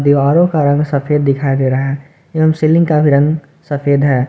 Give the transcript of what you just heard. दीवारों का रंग सफेद दिखाई दे रहा है एवं सीलिंग का भी रंग सफेद है।